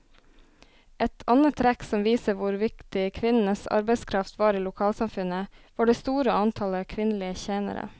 Et annet trekk som viser hvor viktig kvinnenes arbeidskraft var i lokalsamfunnet, var det store antallet kvinnelige tjenere.